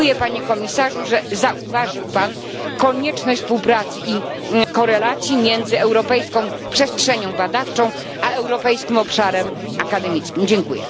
Dziękuję, Panie Komisarzu, że zauważył Pan konieczność współpracy i korelacji między europejską przestrzenią badawczą a europejskim obszarem szkolnictwa wyższego.